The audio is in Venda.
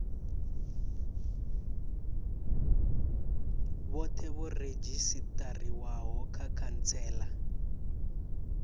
vhothe vho redzhisitariwaho kha khantsela